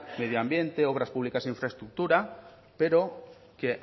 medio ambiente obras públicas e infraestructuras pero que